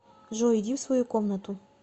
джой иди в свою комнату